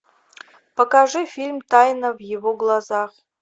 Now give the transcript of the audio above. покажи фильм тайна в его глазах